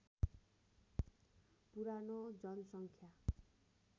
पुरानो जनसङ्ख्या